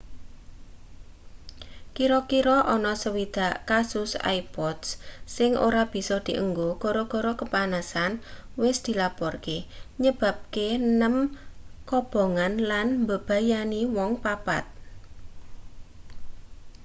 kira-kira ana 60 kasus ipods sing ora bisa dienggo gara-gara kepanasen wis dilaporke nyebabke nem kobongan lan mbebayani wong papat